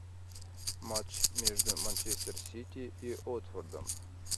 матч между манчестер сити и уотфордом